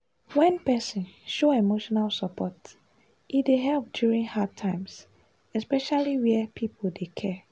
wen person show emotional support e dey help during hard times especially where people dey care.